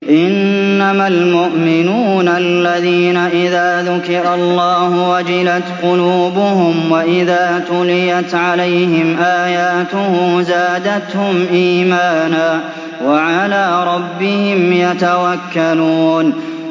إِنَّمَا الْمُؤْمِنُونَ الَّذِينَ إِذَا ذُكِرَ اللَّهُ وَجِلَتْ قُلُوبُهُمْ وَإِذَا تُلِيَتْ عَلَيْهِمْ آيَاتُهُ زَادَتْهُمْ إِيمَانًا وَعَلَىٰ رَبِّهِمْ يَتَوَكَّلُونَ